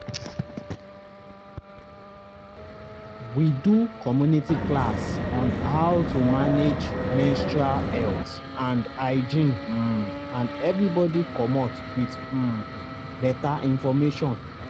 we do community class on how to manage menstrual health and hygiene um and everybody comot with um better information.